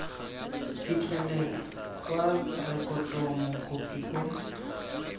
phitlhelelo kwa rekotong mokopi o